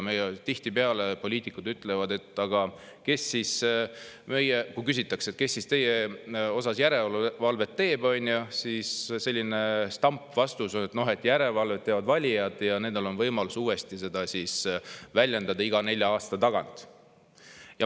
Tihtipeale, kui küsitakse, kes meie üle järelevalvet teeb, on meie poliitikutel stampvastus, et järelevalvet teevad valijad ja nendel on võimalus uuesti seda väljendada iga nelja aasta tagant.